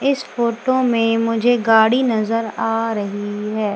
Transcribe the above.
इस फोटो में मुझे गाड़ी नजर आ रही है।